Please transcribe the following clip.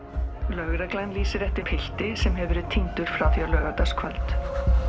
lögreglan lýsir eftir pilti sem hefur verið týndur síðan á laugardagskvöld